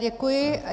Děkuji.